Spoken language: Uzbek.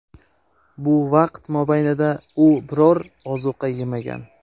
Bu vaqt mobaynida u biror ozuqa yemagan.